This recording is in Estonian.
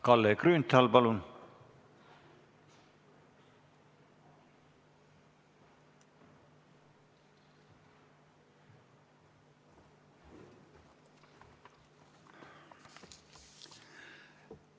Kalle Grünthal, palun!